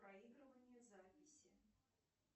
проигрывание записи